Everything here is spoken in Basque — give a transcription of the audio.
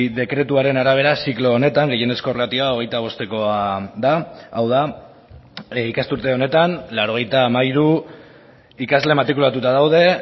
dekretuaren arabera ziklo honetan gehienezko ratioa hogeita bostekoa da hau da ikasturte honetan laurogeita hamairu ikasle matrikulatuta daude